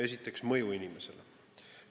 Esiteks, mõju inimesele.